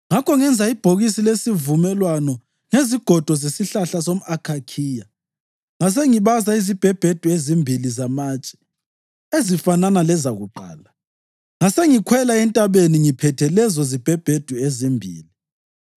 Ngakho ngenza ibhokisi lesivumelwano ngezigodo zesihlahla somʼakhakhiya ngasengibaza izibhebhedu ezimbili zamatshe ezifanana lezakuqala, ngasengikhwela entabeni ngiphethe lezo zibhebhedu ezimbili.